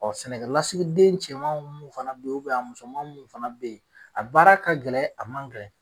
sɛnɛkɛlasigiden cɛman mun fana be yen, a musoman mun fana be yen, a baara ka gɛlɛn, a man gɛlɛn